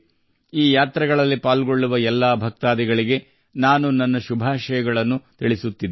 ಈ ಯಾತ್ರೆಗಳಲ್ಲಿ ಭಾಗವಹಿಸುವ ಎಲ್ಲಾ ಭಕ್ತಾದಿಗಳಿಗೆ ಶುಭ ಹಾರೈಸುತ್ತೇನೆ